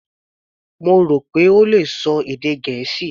Mo rò pé ó le ṣọ èdè Gẹ̀ẹ́sì.